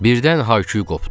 Birdən hay-küy qopdu.